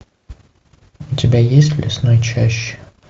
у тебя есть в лесной чаще